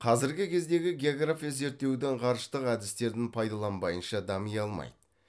қазіргі кездегі география зерттеудің ғарыштық әдістерін пайдаланбайынша дами алмайды